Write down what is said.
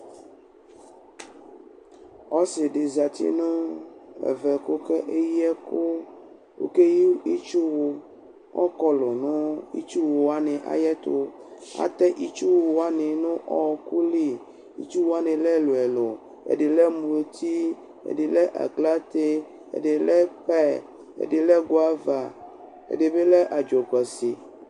Ɔsɩ dɩ zǝ nʋ ɛvɛ kʋ okeyɩ ɛkʋ Okeyɩ itsuwʋ Ɔkɔlʋ nʋ itsuwʋ wanɩ ɛtʋ Atɛ itsuwʋ wanɩ nʋ ɔɔkʋ li Itsuwʋ wanɩ lɛ ɛlʋ ɛlʋ Ɛdɩ lɛ muti, ɛdɩ lɛ aklate, ɛdɩ lɛ pɛyɛ, ɛdɩ lɛ gʋava, ɛdɩ bɩ lɛ adzʋkʋasi